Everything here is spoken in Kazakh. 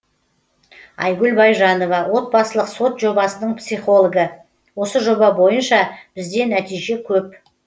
айгүл байжанова отбасылық сот жобасының психологі осы жоба бойынша бізде нәтиже көп